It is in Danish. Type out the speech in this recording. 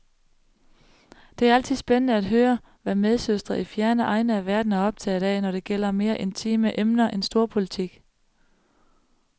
Det er altid spændende at høre, hvad medsøstre i fjerne egne af verden er optaget af, når det gælder mere intime emner end storpolitik.